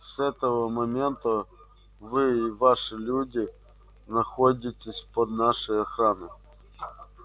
с этого момента вы и ваши люди находитесь под нашей охраной